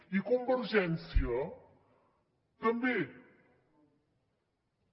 i convergència també també